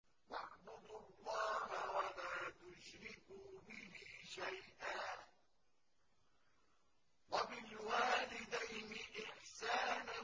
۞ وَاعْبُدُوا اللَّهَ وَلَا تُشْرِكُوا بِهِ شَيْئًا ۖ وَبِالْوَالِدَيْنِ إِحْسَانًا